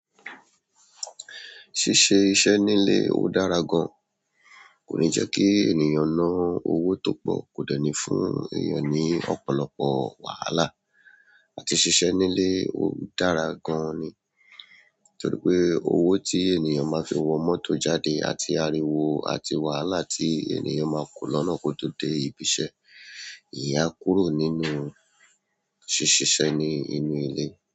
Ṣíṣe iṣẹ́ nílé ó dára gan. Kò ní jẹ́ kí ènìyàn ná owó tó pọ̀, kò dẹ́ni fún èèyàn ní ọ̀pọ̀lọpọ̀ wàhálà. Àti ṣíṣe nílé ó dára gan ni. Torí pé owó tí ènìyàn máa fi wọ mọ́tò jáde àti ariwo àti wàhálà tí ènìyàn máa kó lọ́nà kótó dé ibi iṣẹ́. Ìyẹn a kúrò nínú ṣíṣiṣẹ ní inú ilé.